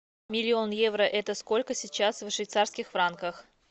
миллион евро это сколько сейчас в швейцарских франках